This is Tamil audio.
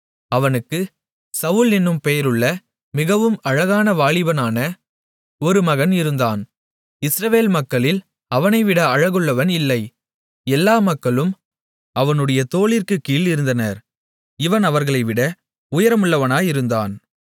அவனுக்குச் சவுல் என்னும் பெயருள்ள மிகவும் அழகான வாலிபனான ஒரு மகன் இருந்தான் இஸ்ரவேல் மக்களில் அவனை விட அழகுள்ளவன் இல்லை எல்லா மக்களும் அவனுடைய தோளிற்கு கீழ் இருந்தனர் இவன் அவர்களை விட உயரமுள்ளவனாயிருந்தான்